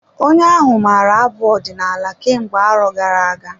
Onye ahụ maara abụ ọdinala kemgbe arọ gara-aga.